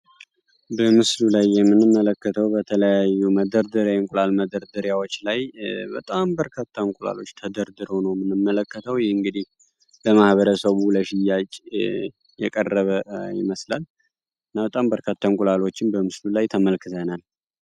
በምስሉ ላይ የምንመለከተው በተለያዩ የእንቁላል መደርደሪያዎች ላይ በጣም በርካታ እንቁላሎች ተደርድረው ነው የምንመለከተው። ይህ እንግዲህ ለማህበረሰቡ ለሽያጭ የቀረበ ይመስላል። እና በጣም በርካታ እንቁላሎችን በምስሉ ላይ ተመልክተናል።